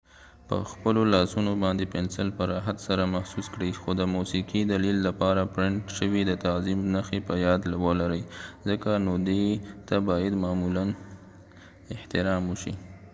پخپلو لاسونه باندې پنسل په راحت سره محسوس کړئ خو د موسیقې دلیل لپاره پرنټ شوي د تعظیم نښې په یاد ولرئ ځکه نو دې ته باید معمولاً احترام وشي